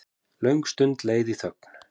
Löng stund leið í þögn.